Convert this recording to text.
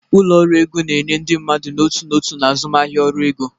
Ụlọ ọrụ ego na enye ndị mmadụ n'otu n'otu na azụmahịa ọrụ ego.